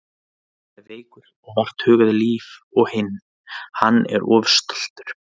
Annar er veikur og vart hugað líf og hinn. hann er of stoltur.